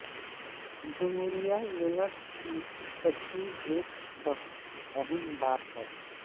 جمہوری یونٹس کی تشریح ایک بہت اہم بات ہے